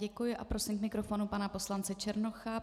Děkuji a prosím k mikrofonu pana poslance Černocha.